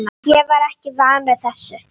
Ég er ekki vanur þessu.